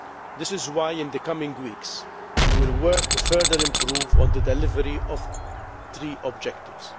This is why in the coming weeks we will work to further improve on the delivery of the three objectives.